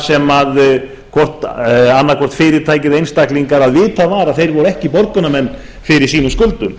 sem annað hvort fyrirtæki eða einstaklingar að vitað var að þeir voru ekki borgunarmenn fyrir sínum skuldum